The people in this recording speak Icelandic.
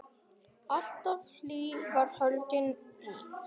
Alltaf hlý var höndin þín.